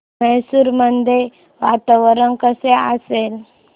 मैसूर मध्ये वातावरण कसे असेल